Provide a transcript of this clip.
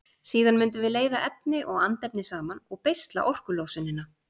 Síðan mundum við leiða efni og andefni saman og beisla orkulosunina.